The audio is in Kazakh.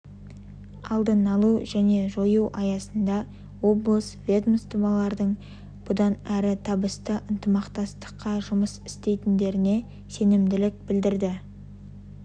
алдын алу және жою аясында облыс ведомстволарының бұдан әрі табысты ынтымақтастықта жұмыс істейтіндеріне сенімділік білдірді